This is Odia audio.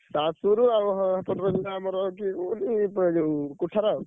ସାଂଶୁ ରୁ ଆଉ ସେପଟରେ ଯୋଉ ଆମର ଅଛି ଯୋଉ ।